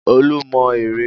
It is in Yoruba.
Olú mọ ère.